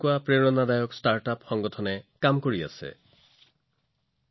দেশত বহুতো ষ্টাৰ্টআপ আৰু সংগঠন আছে যিয়ে এই দিশত অনুপ্ৰেৰণামূলক কাম কৰি আছে